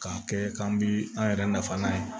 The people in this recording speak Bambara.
K'a kɛ k'an bi an yɛrɛ nafa n'a ye